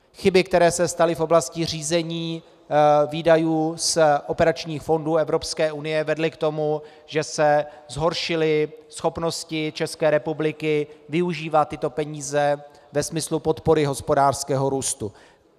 Chyby, které se staly v oblasti řízení výdajů z operačních fondů Evropské unie vedly k tomu, že se zhoršily schopnosti České republiky využívat tyto peníze ve smyslu podpory hospodářského růstu.